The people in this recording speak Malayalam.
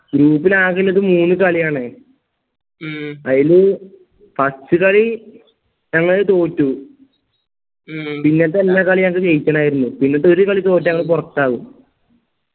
group ൽ ആകെയുള്ളത് മൂന്ന് കളിയാണ് അയില് first കളി ഞങ്ങള് തോറ്റു പിന്നത്തെ എല്ലാ കളിയും ജയിക്കണമായിരുന്നു പിന്നത്തെ ഒരു കളി തോറ്റ ഞങ്ങള് പൊറത്താവും